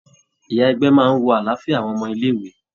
Ìyá ègbé máa ń wo àlàáfíà àwọn ọmọ ilé-ìwé.